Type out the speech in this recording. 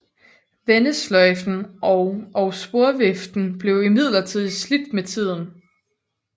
Vendesløjfen og og sporviften blev imidlertid slidt med tiden